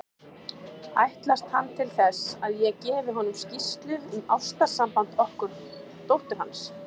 Ætlast hann til þess, að ég gefi honum skýrslu um ástarsamband okkar dóttur hans?